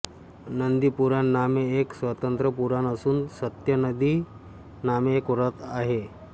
नन्दीपुराण नामे एक स्वतंत्र पुराण असून सत्यनन्दी नामे एक व्रत आहे